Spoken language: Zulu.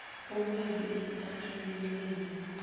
okubili esithathwini leningi